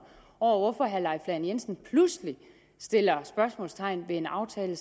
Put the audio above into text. over for hvorfor herre leif lahn jensen pludselig sætter spørgsmålstegn ved en aftale